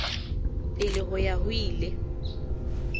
pele ho ya ho ile